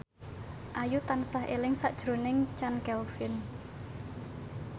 Ayu tansah eling sakjroning Chand Kelvin